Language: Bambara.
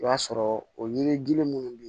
I b'a sɔrɔ o yiri minnu be yen